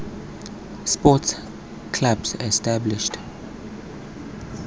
sports clubs established